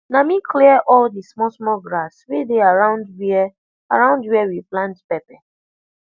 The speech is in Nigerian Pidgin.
na me clear all the small small grass wey dey around where around where we plant pepper